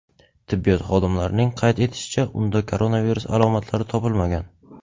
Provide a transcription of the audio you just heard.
Tibbiyot xodimlarining qayd etishicha, unda koronavirus alomatlari topilmagan.